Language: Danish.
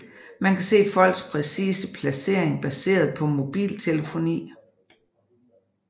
Man kan se folks præcise placering baseret på mobiltelefoni